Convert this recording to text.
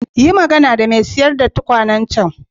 Yi magana da mai sayar da tukwanen can.